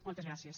moltes gràcies